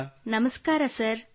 ಕೃತ್ತಿಕಾ ನಮಸ್ತೆ ಸರ್